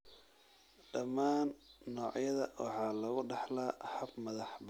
Dhammaan noocyada waxaa lagu dhaxlaa hab madax-bannaani ah.